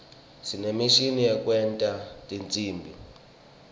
sinemishini yekwenta tinsimbi